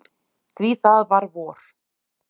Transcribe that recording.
Því það var vor.